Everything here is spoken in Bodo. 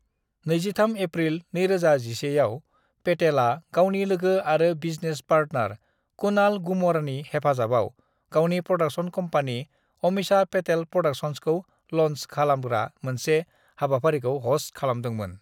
"23 एप्रिल 2011 आव, पेटेलआ गावनि लोगो आरो बिजनेस पार्टनार कुणाल गूमरनि हेफाजाबाव गावनि प्र'डाक्शन कम्पानि, अमीषा पेटेल प्र'डाक्शन्सखौ ल'न्च खालामग्रा मोनसे हाबाफारिखौ ह'स्त खालामदोंमोन।"